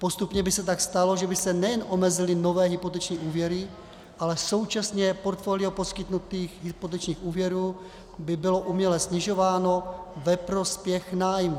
Postupně by se tak stalo, že by se nejen omezily nové hypoteční úvěry, ale současně portfolio poskytnutých hypotečních úvěrů by bylo uměle snižováno ve prospěch nájmů.